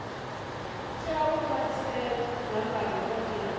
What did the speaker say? tea u khwaṱhisedzwa nga dokotela